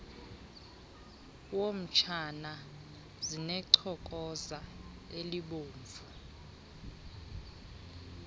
wotshana zinechokoza elibomvu